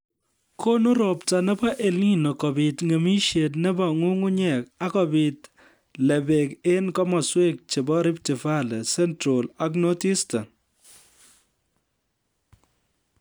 Konu robta nebo EL Nino kobiit ng'emisiet nebo nyung'unyek ak kobiit lebek eng kemoswek chebo Rift Valley, Central ak North-Eastern